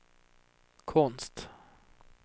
konst